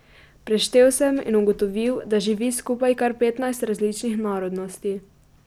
Preštel sem in ugotovil, da živi skupaj kar petnajst različnih narodnosti.